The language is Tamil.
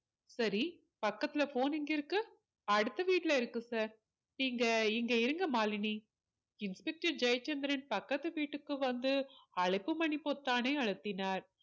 சரி பக்கத்துல phone எங்க இருக்கு அடுத்த வீட்டுல இருக்கு sir நீங்க இங்க இருங்க மாலினி inspector ஜெயச்சந்திரன் பக்கத்து வீட்டுக்கு வந்து அழைப்பு மணி பொத்தானை அழுத்தினார்